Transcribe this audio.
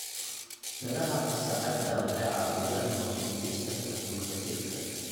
Midhaha qasacada waxay caawiyaan hoos u dhigista heerkulka jirka.